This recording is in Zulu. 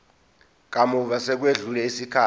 kamuva sekwedlule isikhathi